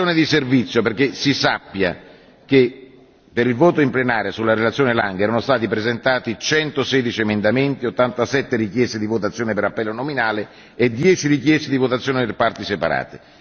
di servizio, perché si sappia che per il voto in plenaria sulla relazione Lange erano stati presentati 116 emendamenti, 87 richieste di votazione per appello nominale e 10 richieste di votazione per parti separate.